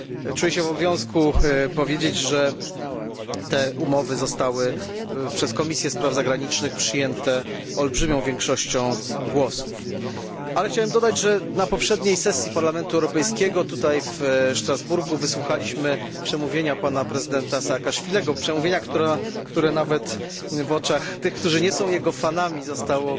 Czuję się w obowiązku powiedzieć, że te umowy zostały przez Komisję Spraw Zagranicznych przyjęte olbrzymią większością głosów. Chciałbym dodać, że na poprzedniej sesji Parlamentu Europejskiego tutaj, w Strasburgu wysłuchaliśmy przemówienia prezydenta Saakaszwilego przemówienia, które nawet w oczach tych, którzy nie są jego fanami zostało